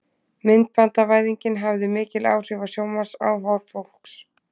Myndbandavæðingin hafði mikil áhrif á sjónvarpsáhorf fólks.